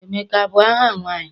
Emeka abụ aha nwaanyị?